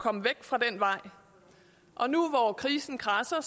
komme væk fra den vej og nu hvor krisen kradser er